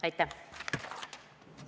Aitäh!